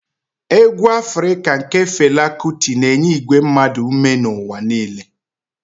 Egwu afrika nke Fela Kuti na-enye igwe mmadụ ume n'ụwa niile.